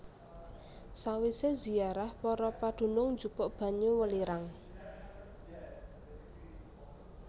Sawisé ziarah para padunung njupuk banyu welirang